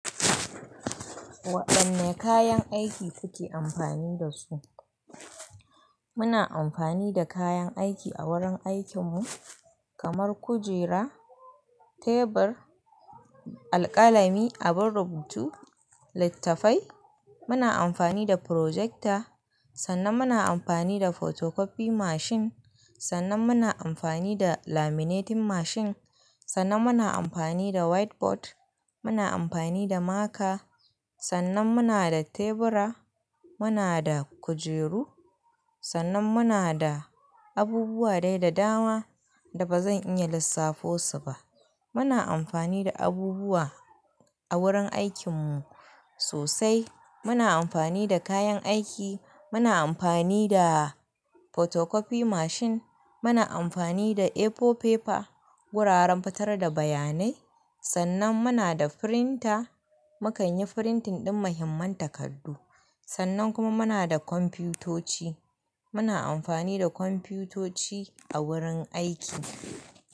Waɗanne kayan aiki kuke amfani da su? Muna amfani da kayan aiki a wurin aikinmu kamar kujera, tebur, alkalami abun rubutu, littafai muna amfani da project sanan muna amfani da photocopy machine sanan muna amfani da laminating machine, sanan muna amfani da white board muna amfani da marker sannan muna da tebura, muna da kujeru, sannan muna da abubuwa dai da dama da ba zan iya lissafo su ba. Muna amfani da abubuwa a wurin aikinmu sosai. Muna amfani da kayan aiki, muna amfani da photocopy machine, muna amfani da A4 paper, wuraren fitar da bayanai. Sannan muna da printer, mu kan yi printing ɗin muhimman takardu. Sannan kuma muna da kwamfutoci, muna amfani da kwamfutoci a wurin aiki.